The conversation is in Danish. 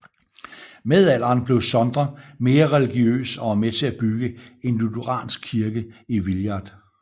Med alderen blev Sondre mere religiøs og var med til at bygge en lutheransk kirke i Villard